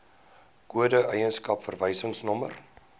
kode eienaarskap verwysingsnommer